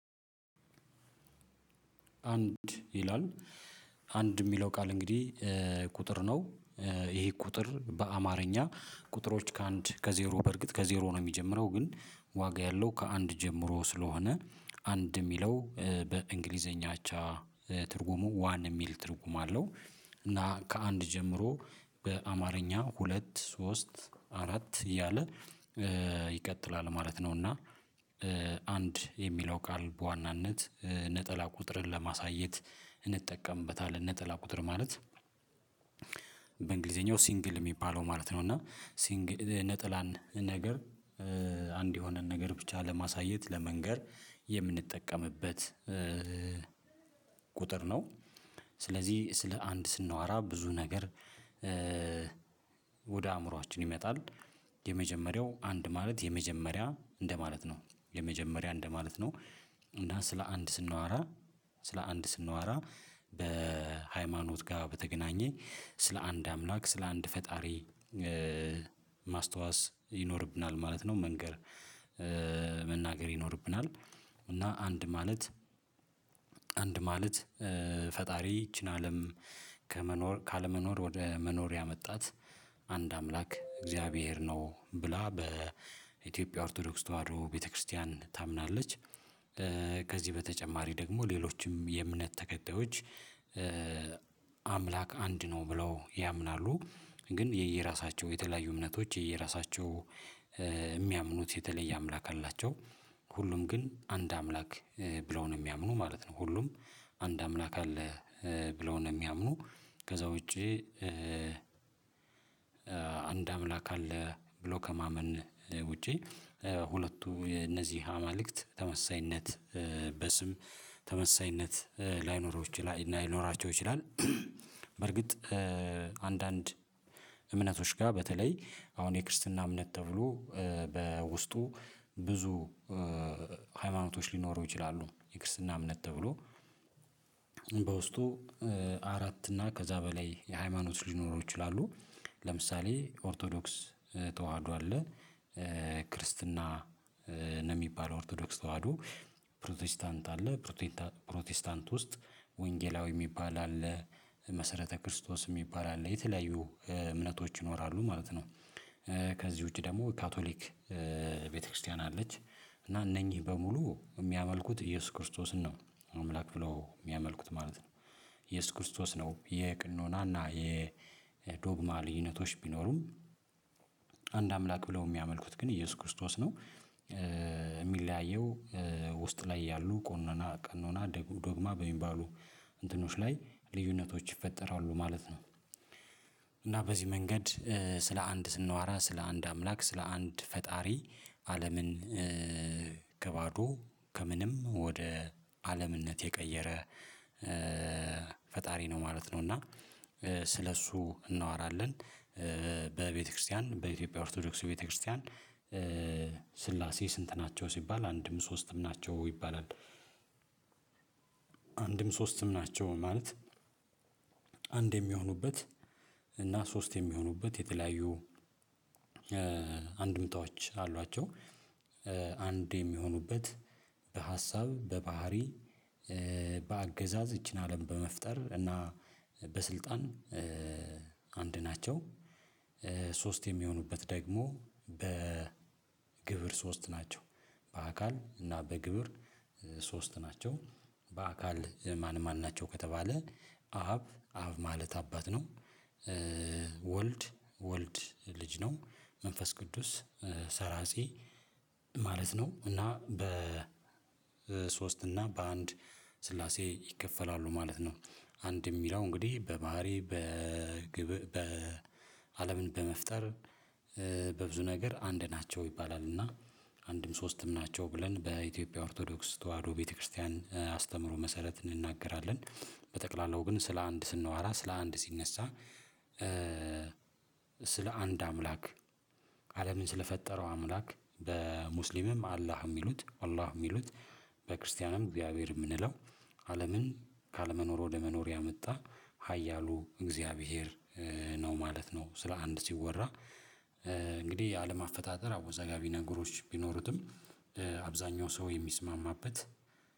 "አንድ" ይላል። "አንድ" የሚለው ቃል እንግዲህ ቁጥር ነው። ይሄ ቁጥር በአማርኛ ቁጥሮች ከአንድ ከዜሮ በእርግጥ ከዜሮ ነው የሚጀምረው ግን ዋጋ ያለው ከአንድ ጀምሮ ስለሆነ "አንድ" የሚለው በእንግሊዝኛ አቻ ትርጉሙ "ዋን" የሚል ትርጉም አለው። እና ከአንድ ጀምሮ በአማርኛ ሁለት፣ ሶስት፣ አራት እያለ ይቀጥላል ማለት ነው። እና "አንድ" የሚለው ቃል በዋናነት ነጠላ ቁጥርን ለማሳየት እንጠቀምበታለን፤ ነጠላ ቁጥር ማለት በእንግሊዝኛው "ሲንግል" የሚባለው ማለት ነው። እና "ሲንግል" ነጠላን ነገር አንድ የሆነን ነገር ብቻ ለማሳየት፣ ለመንገር የምንጠቀምበት ቁጥር ነው። ስለዚህ ስለ "አንድ" ስናወራ ብዙ ነገር ወደ አእምሮአችን ይመጣል። የመጀመሪያው "አንድ" ማለት የመጀመሪያ እንደማለት ነው፤ የመጀመሪያ እንደማለት ነው። እና ስለ "አንድ" ስናወራ ስለ "አንድ" ስናወራ፣ ከሃይማኖት ጋር በተያያዘ ስለ አንድ አምላክ፣ ስለ አንድ ፈጣሪ ማስታወስ ይኖርብናል ማለት ነው፤ መንገር መናገር ይኖርብናል፤ እና "አንድ" ማለት "አንድ" ማለት ፈጣሪ ይህችን አለም ካለመኖር ወደ መኖር ያመጣት "አንድ አምላክ እግዚአብሔር ነው" ብላ የኢትዮጵያ ኦርቶዶክስ ተዋህዶ ቤተ ክርስቲያን ታምናለች። ከዚህ በተጨማሪ ደግሞ ሌሎችም የእምነት ተከታዮች "አምላክ አንድ ነው" ብለው ያምናሉ። ግን የየራሳቸው የተለያዩ እምነቶች የየራሳቸው የሚያምኑት የተለየ አምላክ አላቸው፤ ሁሉም ግን "አንድ አምላክ" ብለው ነው የሚያምኑት ማለት ነው፤ ሁሉም "አንድ አምላክ አለ" ብለው ነው የሚያምኑት፤ ከዚያ ውጭ "አንድ አምላክ አለ" ብሎ ከማመን ውጭ እነዚህ አማልክት በስም ተመሳሳይነት ላይኖራቸው ይችላል። በእርግጥ ከአንዳንድ እምነቶች ጋር በተለይ አሁን የክርስትና እምነት ተብሎ በውስጡ ብዙ ሃይማኖቶች ሊኖሩ ይችላሉ፤ የክርስትና እምነት ተብሎ በውስጡ አራት እና ከዚያ በላይ የሆኑ ሃይማኖቶች ሊኖሩ ይችላሉ። ለምሳሌ ኦርቶዶክስ ተዋህዶ አለ፤ ክርስትና ነው የሚባለው። ኦርቶዶክስ ተዋህዶ፣ ፕሮቴስታንት አለ፤ በፕሮቴስታንት ውስጥ ደግሞ ወንጌላዊ የሚባል አለ፣ መሰረተ ክርስቶስ የሚባል አለ፤ የተለያዩ እምነቶች ይኖራሉ ማለት ነው። ከዚህ ውጭ ደግሞ ካቶሊክ ቤተ ክርስቲያን አለች፤ እና እነዚህ በሙሉ የሚያመልኩት ኢየሱስ ክርስቶስን ነው፤ "አምላክ" ብለው የሚያመልኩት ማለት ነው። ኢየሱስ ክርስቶስ ነው፤ የቅኖና እና የዶግማ ልዩነቶች ቢኖሩም። "አንድ አምላክ" ብለው የሚያመልኩት ግን ኢየሱስ ክርስቶስን ነው። የሚለያየው ውስጥ ላይ ባሉ ቀኖና እና ዶግማ በሚባሉ ነገሮች ላይ ልዩነቶች ይፈጠራሉ ማለት ነው፤ እና በዚህ መንገድ ስለ "አንድ" ስናወራ ስለ አንድ አምላክ፣ ስለ አንድ ፈጣሪ፣ አለምን ከባዶ፣ ከምንም ወደ ዓለምነት የቀየረ ፈጣሪ ነው ማለት ነው፤ እና ስለ እርሱ እናወራለን፤ በቤተ ክርስቲያን በኢትዮጵያ ኦርቶዶክስ ቤተ ክርስቲያን "ሥላሴ ስንት ናቸው?" ሲባል "አንድም ሦስትም ናቸው" ይባላል። "አንድም ሦስትም ናቸው" ማለት "አንድ" የሚሆኑበት እና "ሶስት" የሚሆኑበት የተለያዩ አንድምታዎች አሏቸው፤ አንድ የሚሆኑበት በሀሳብ፣ በባሕርይ፣ በአገዛዝ፣ ይህችን አለም በመፍጠር እና በሥልጣን አንድ ናቸው፤ "ሶስት" የሚሆኑበት ደግሞ በግብር ሶስት ናቸው፤ በአካል እና በግብር ሶስት ናቸው። "በአካል ማን ማን ናቸው?" ከተባለ አብ አብ ማለት አባት ነው፣ ወልድ ወልድ ልጅ ነው፣ መንፈስ ቅዱስ ሠራፂ ማለት ነው፤ እና በ በሶስት እና በአንድ ሥላሴ ይከፈላሉ ማለት ነው። "አንድ" የሚለው እንግዲህ በባሕርይ፣ በህልውና፣ አለምን በመፍጠር፣ በብዙ ነገር "አንድ ናቸው" ይባላል፤ እና "አንድም ሦስትም ናቸው" ብለን በኢትዮጵያ ኦርቶዶክስ ተዋህዶ ቤተ ክርስቲያን አስተምህሮ መሰረት እንናገራለን፤ በጠቅላላው ግን ስለ "አንድ" ስናወራ፣ ስለ "አንድ" ሲነሣ ስለ አንድ አምላክ አለምን ስለፈጠረው አምላክ በሙስሊምም "አላህ" የሚሉት "አላህ" የሚሉት በክርስቲያንም "እግዚአብሔር" የምንለው አለምን ካለመኖር ወደ መኖር ያመጣ ኃያሉ እግዚአብሔር ነው ማለት ነው። ስለ "አንድ" ሲወራ እንግዲህ የአለም አፈጣጠር አወዛጋቢ ነገሮች ቢኖሩትም አብዛኛው ሰው የሚስማማበት